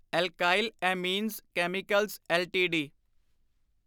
alkyl amines chemicals LTD